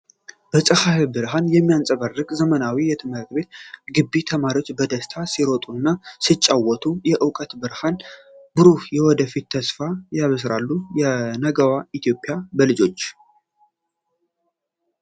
በፀሐይ ብርሃን የሚያብረቀርቅ ዘመናዊ የትምህርት ቤት ግቢ! ተማሪዎች በደስታ ሲሮጡና ሲጫወቱ፣ የእውቀትን ብርሃንና ብሩህ የወደፊትን ተስፋ ያበስራሉ። የነገዋ ኢትዮጵያ በልጆች!